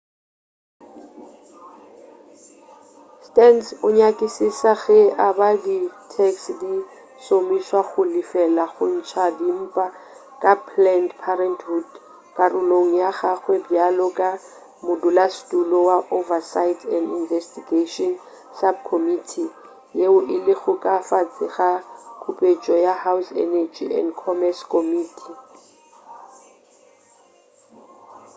stearns o nyakišiša ge e ba di tax di šomišwa go lefela go ntša dimpa ka planned parenthood karolong ya gagwe bjalo ka modulasetulo wa oversight and investigation subcommittee yeo e lego ka fase ga kupetšo ya house energy and commerce committee